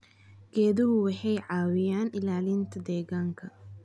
Geeduhu waxay caawiyaan ilaalinta deegaanka.